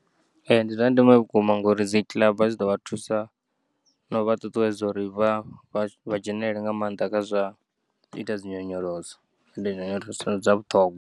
Ee, ndi zwa ndeme vhukuma ngauri dzikiḽaba dzi ḓo vha thusa nau vha ṱuṱuwedza uri vha vha dzhenelele nga maanḓa kha zwa uita dzinyonyoloso ende nyonyoloso ndi dza vhuṱhogwa.